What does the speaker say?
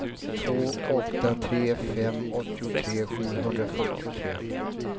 två åtta tre fem åttiotre sjuhundrafyrtiotre